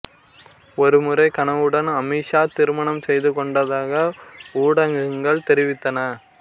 ஒருமுறை கனவ்வுடன் அமீஷா திருமணம் செய்து கொண்டதாக ஊடகங்கள் தெரிவித்தன